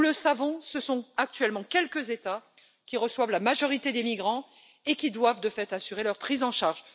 Nous le savons, ce sont actuellement quelques États qui reçoivent la majorité des migrants et qui doivent, de fait, assurer leur prise en charge.